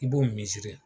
I b'o miiri